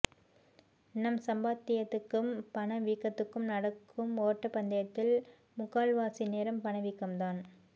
நம் சம்பாத்தியத்துக் கும் பண வீக்கத்துக்கும் நடக்கும் ஓட்டப்பந்தயத்தில் முக்கால்வாசி நேரம் பண வீக்கம் தான்